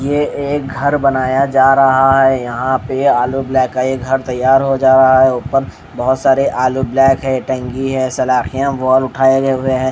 ये एक घर बनाया जा रहा हैं यहाँ पे आलू ब्लैक का ये घर तैयार हो जा रहा हैं ऊपर बहोत सारे आलू ब्लैक हैं टंकी हैं सलाखें वॉल उठाए गए हुए हैं।